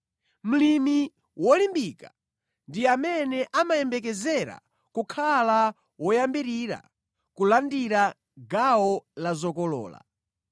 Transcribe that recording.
Mlimi wolimbika ndi amene amayembekezereka kukhala woyambirira kulandira gawo la zokolola.